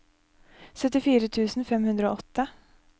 syttifire tusen fem hundre og åtte